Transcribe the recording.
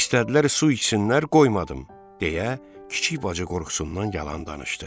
İstədilər su içsinlər, qoymadım, deyə kiçik bacı qorxusundan yalan danışdı.